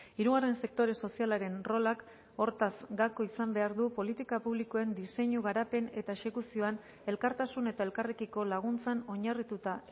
hirugarren sektore sozialaren rolak hortaz gako izan behar du politika publikoen diseinu garapen eta exekuzioan elkartasun eta elkarrekiko laguntzan oinarrituta